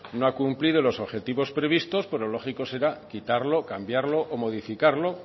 no ha cumplido los objetivos previstos pues lo lógico será quitarlo o cambiarlo o modificarlo